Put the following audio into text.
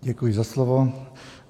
Děkuji za slovo.